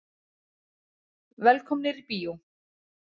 Velkomnir í bíó.